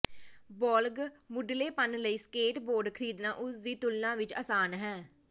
ਬਾਲਗ਼ ਮੁਢਲੇਪਨ ਲਈ skateboard ਖ਼ਰੀਦਣਾ ਉਸ ਦੀ ਤੁਲਨਾ ਵਿਚ ਆਸਾਨ ਹੈ